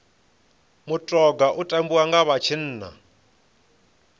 mutoga u tambiwa nga vha tshinnani